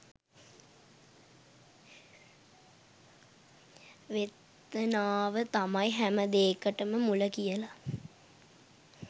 වේතනාව තමයි හැමදේකටම මුල කියලා.